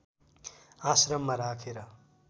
आश्रममा राखेर